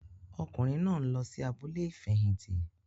Ọkùnrin náà nlọ sí abúlé ifẹhinti